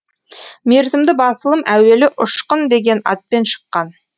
мерзімді басылым әуелі ұшқын деген атпен шыққан